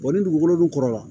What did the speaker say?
ni dugukolo dun kɔrɔ la